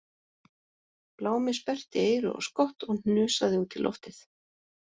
Blámi sperrti eyru og skott og hnusaði út í loftið